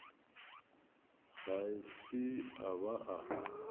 ga se a ba a